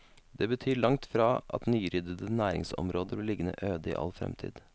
Det betyr langt fra at nyryddede næringsområder blir liggende øde i all fremtid.